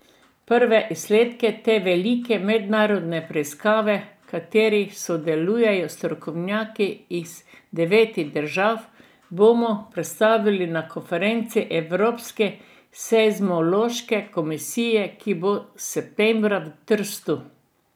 Prve izsledke te velike mednarodne raziskave, v kateri sodelujejo strokovnjaki iz devetih držav, bomo predstavili na konferenci Evropske seizmološke komisije, ki bo septembra v Trstu.